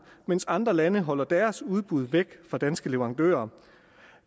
mens andre lande holder deres udbud væk fra danske leverandører